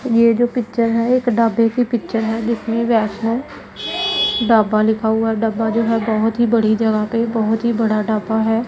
ये जो पिक्चर है एक ढाबे की पिक्चर है जिसमें वैष्णो ढाबा लिखा हुआ है ढाबा जो है बहोत ही बड़ी जगह पे बहोत ही बड़ा ढाबा है।